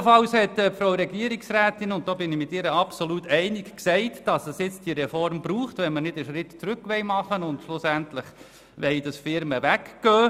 Ebenfalls hat die Regierungsrätin aufgezeigt, dass es die Reform braucht, wenn man nicht einen Schritt zurück machen will, wodurch schlussendlich Firmen wegziehen würden.